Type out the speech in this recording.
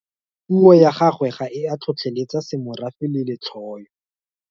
Puo ya gagwe ga e a tlhotlheletsa semorafe le letlhoyo.